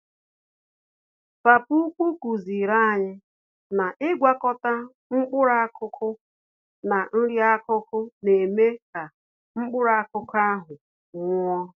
Papa ukwu kuziri anyị na ịgwakọta mkpụrụ-akụkụ na nri-akụkụ, némè' ka mkpụrụ-akụkụ ahụ nwụọ.